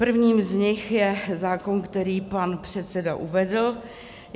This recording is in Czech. Prvním z nich je zákon, který pan předseda uvedl.